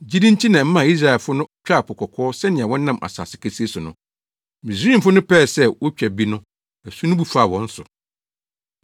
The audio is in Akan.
Gyidi nti na ɛmaa Israelfo no twaa Po Kɔkɔɔ sɛnea wɔnam asase kesee so no. Misraimfo no pɛɛ sɛ wotwa bi no, asu no bu faa wɔn so.